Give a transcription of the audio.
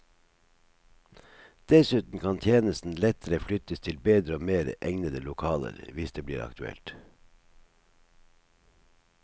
Dessuten kan tjenesten lettere flyttes til bedre og mer egnede lokaler hvis det blir aktuelt.